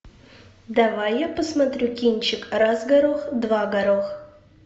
давай я посмотрю кинчик раз горох два горох